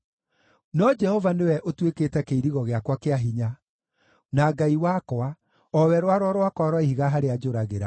No Jehova nĩwe ũtuĩkĩte kĩirigo gĩakwa kĩa hinya, na Ngai wakwa, o we rwaro rwakwa rwa ihiga harĩa njũragĩra.